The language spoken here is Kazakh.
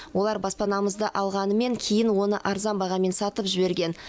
олар баспанамызды алғанымен кейін оны арзан бағамен сатып жіберген